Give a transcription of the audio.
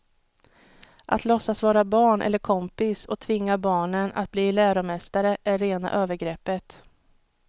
Att låtsas vara barn eller kompis och tvinga barnen att bli läromästare är rena övergreppet.